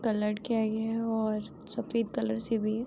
Colour किया ये है और सफेद कलर से भी है।